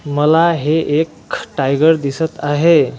मला हे एक टायगर दिसत आहे.